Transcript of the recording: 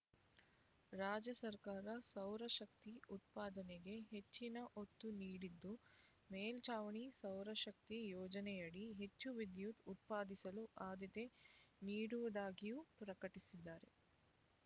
ರಾಜ್ಯ ಸರ್ಕಾರ ಸೌರಶಕ್ತಿ ಉತ್ಪಾದನೆಗೆ ಹೆಚ್ಚಿನ ಒತ್ತು ನೀಡಿದ್ದು ಮೇಲ್ಛಾವಣಿ ಸೌರಶಕ್ತಿ ಯೋಜನೆಯಡಿ ಹೆಚ್ಚು ವಿದ್ಯುತ್ ಉತ್ಪಾದಿಸಲು ಆದ್ಯತೆ ನೀಡುವುದಾಗಿಯೂ ಪ್ರಕಟಿಸಿದ್ದಾರೆ